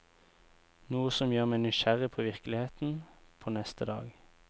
Noe som gjør meg nysgjerrig på virkeligheten, på neste dag.